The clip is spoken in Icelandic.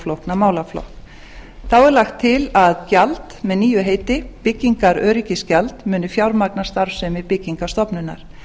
flókna málaflokk þá er lagt til að gjald með nýju heiti byggingaröryggisgjald muni fjármagna starfsemi byggingarstofnunar